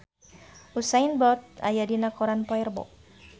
Usain Bolt aya dina koran poe Rebo